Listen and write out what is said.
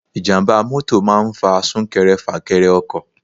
Ijàmbá mọ́tọ̀ máa ń fa sunkẹrẹ fakẹrẹ ọkọ̀.